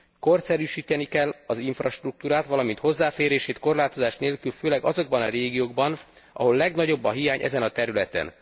Korszerűsíteni kell az infrastruktúrát, valamint hozzáférését korlátozás nélkül főleg azokban a régiókban, ahol legnagyobb a hiány ezen a területen.